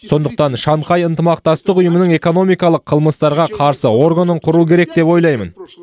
сондықтан шанхай ынтымақтастық ұйымының экономикалық қылмыстарға қарсы органын құру керек деп ойлаймын